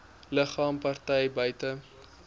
liggame partye buite